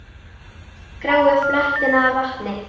Gráu fletina vanti.